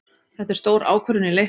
Þetta er stór ákvörðun í leiknum.